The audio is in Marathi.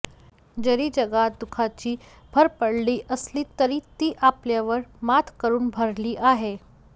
जरी जगात दुःखाची भर पडली असली तरी ती आपल्यावर मात करून भरली आहे